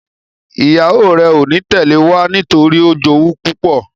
ìyàwó rẹ o ní Tẹlẹ wá nítorípé o jowú púpọ.